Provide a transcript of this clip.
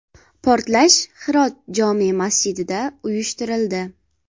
Portlash Hirot jome masjidida uyushtirildi.